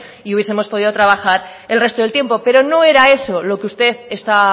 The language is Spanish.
y hubiesemos podido trabajar el resto del tiempo pero no era eso lo que usted está